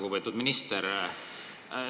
Lugupeetud minister!